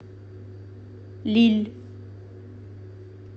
лилль